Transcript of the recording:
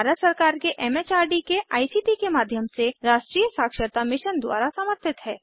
यह भारत सरकार के एम एच आर डी के आई सी टी के माध्यम से राष्ट्रीय साक्षरता मिशन द्वारा समर्थित है